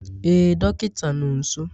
Ee dọkịta nọ nso